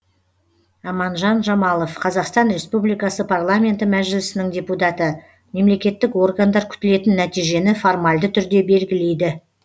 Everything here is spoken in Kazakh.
аманжан жамалов қазақстан республикасы парламенті мәжілісінің депутаты мемлекеттік органдар күтілетін нәтижені формальды түрде белгілейді